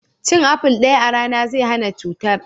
Cin aful daya a rana zai hana cutar.